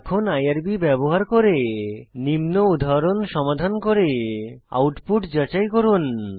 এখন আইআরবি ব্যবহার করে নিম্ন উদাহরণ সমাধান করে আউটপুট যাচাই করুন